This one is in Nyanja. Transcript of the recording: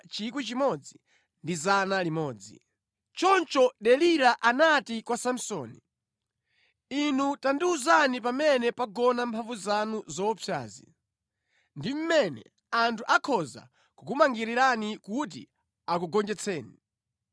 Choncho Delila anati kwa Samsoni, “Inu tandiwuzani pamene pagona mphamvu zanu zoopsazi ndi mmene anthu akhoza kukumangirani kuti akugonjetseni.”